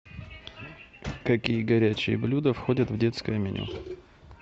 какие горячие блюда входят в детское меню